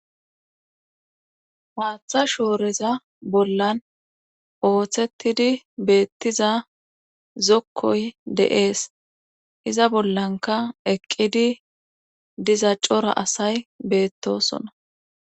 maatha shooreza bollan ooththettidi beettiza zokkoy deees iza bollanka eqqidi diza cora asay beettosona